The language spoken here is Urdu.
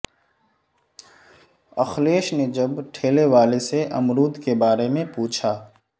اکھلیش نے جب ٹھیلے والے سے امرود کے بارے میں پوچھا